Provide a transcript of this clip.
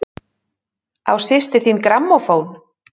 Á systir þín grammófón?